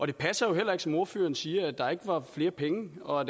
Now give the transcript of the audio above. det passer jo heller ikke som ordføreren siger at der ikke var flere penge og at